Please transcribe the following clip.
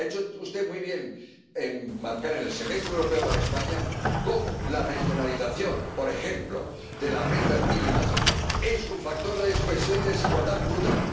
Ha hecho usted muy bien en señalar en el Semestre Europeo para España cómo la regionalización, por ejemplo, de las rentas mínimas es un factor de exclusión y desigualdad brutal.